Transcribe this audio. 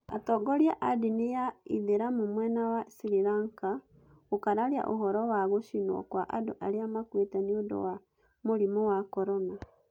Atongoria a ndini ya Ithĩramu mwena wa Sri Lanka gũkararia ũhoro wa gũcinwo kwa andũ arĩa makuĩte nĩ ũndũ wa mũrimũ wa corona.